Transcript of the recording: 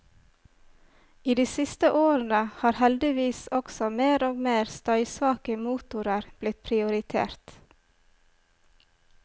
I de siste årene har heldigvis også mer og mer støysvake motorer blitt prioritert.